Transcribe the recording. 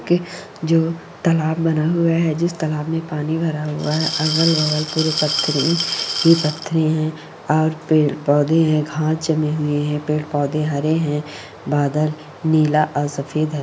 के जो तालाब बना हुआ है। जिस तालाब में पानी भरा हुआ है। अगल बगल पुरे पत्थरे ही ही पत्थरे है और पेड़ पौदे है। घास जमी हुई है। पेड़ पौदे हरे है । बादल नीला और सफ़ेद है।